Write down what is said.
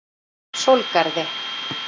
Sólgarði